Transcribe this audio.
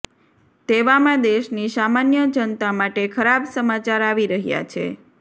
તેવામાં દેશની સામાન્ય જનતા માટે ખરાબ સમાચાર આવી રહ્યા છે